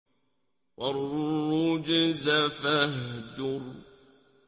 وَالرُّجْزَ فَاهْجُرْ